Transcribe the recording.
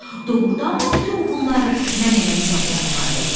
Doğrudanmı bütün bunları mən eləmişəm, o nəhayət dedi.